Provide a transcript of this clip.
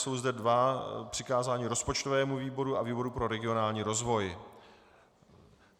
Jsou zde dvě přikázání - rozpočtovému výboru a výboru pro regionální rozvoj.